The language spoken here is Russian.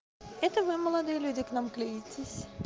это вы молодые люди к нам клеитесь